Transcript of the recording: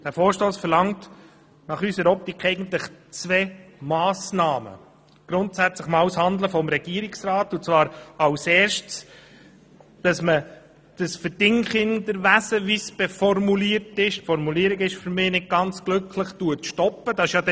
Dieser Vorstoss verlangt aus unserer Sicht eigentlich zwei Massnahmen, grundsätzlich einmal das Handeln des Regierungsrats und zwar als Erstes, dass das Verdingkinderwesen, wie der Vorstoss es formuliert – die Formulierung ist für mich nicht ganz glücklich gewählt –, gestoppt wird.